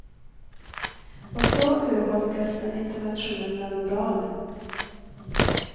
Och då urholkas den internationella moralen.